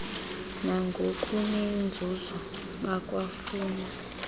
nangokunenzuzo bakwa funa